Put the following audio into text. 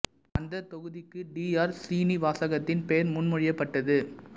அந்தத் தொகுதிக்கு T R சீனிவாசகத்தின் பெயர் முன்மொழியப் பட்டது